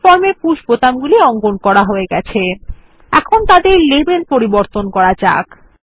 আমাদের ফর্মে পুশ বোতাম অঙ্কন করা হয়ে গেছে এখন তাদের লেবেল পরিবর্তন করা যাক